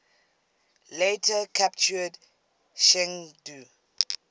later captured chengdu